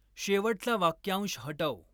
शेवटचा वाक्यांश हटव.